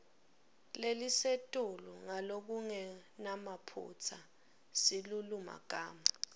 lelisetulu ngalokungenamaphutsa silulumagama